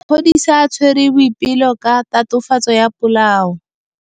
Maphodisa a tshwere Boipelo ka tatofatsô ya polaô.